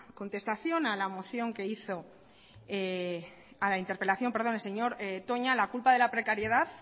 contestación a la interpelación que hizo el señor toña la culpa de la precariedad